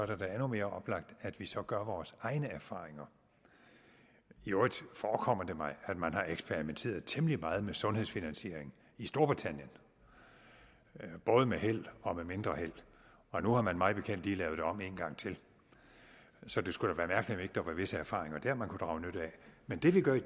det da endnu mere oplagt at vi så gør vores egne erfaringer i øvrigt forekommer det mig at man har eksperimenteret temmelig meget med sundhedsfinansiering i storbritannien både med held og med mindre held og nu har man mig bekendt lige lavet det om en gang til så det skulle da være mærkeligt ikke der var visse erfaringer der man kunne drage nytte af men det vi gør i